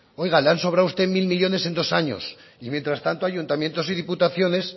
oiga le han sobrado a usted mil millónes en dos años y mientras tanto ayuntamientos y diputaciones